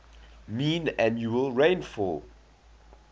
mean annual rainfall